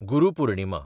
Guru Purnima